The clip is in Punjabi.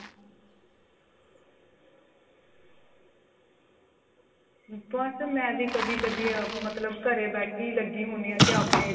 ਬੱਸ ਮੈਂ ਵੀ ਕਦੀ ਕਦੀ ਮਤਲਬ ਘਰੇ ਬੈਠੀ ਲੱਗੀ ਹੁਨੀ ਆਂ ਕੇ ਆਪਣੇ